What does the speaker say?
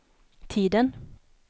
tiden